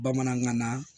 Bamanankan na